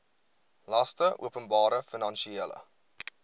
laste openbare finansiële